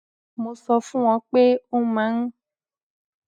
mo sọ fún wọn pé ó máa ń